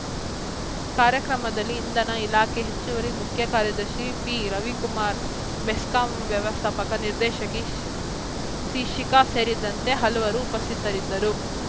ಕಾರ್ಯಕ್ರಮದಲ್ಲಿ ಇಂಧನ ಇಲಾಖೆ ಹೆಚ್ಚುವರಿ ಮುಖ್ಯ ಕಾರ್ಯದರ್ಶಿ ಪಿರವಿಕುಮಾರ್‌ ಬೆಸ್ಕಾಂ ವ್ಯವಸ್ಥಾಪಕ ನಿರ್ದೇಶಕಿ ಸ್ ಸಿಶಿಖಾ ಸೇರಿದಂತೆ ಹಲವರು ಉಪಸ್ಥಿತರಿದ್ದರು